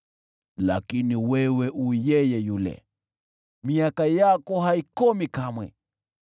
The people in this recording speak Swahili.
Lakini wewe, U yeye yule, nayo miaka yako haikomi kamwe.